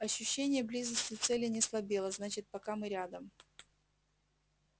ощущение близости цели не слабело значит пока мы рядом